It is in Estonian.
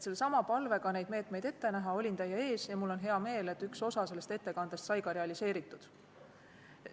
Sellesama palvega neid meetmeid ette näha olin ma teie ees ja mul on hea meel, et üks osa sellest ettekandest sai ka realiseeritud.